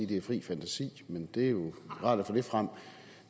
det er fri fantasi men det er jo rart at få det frem